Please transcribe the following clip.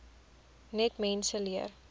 net mense leer